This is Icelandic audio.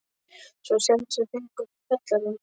Svo að sjálfsögðu fengu þau kjallarann.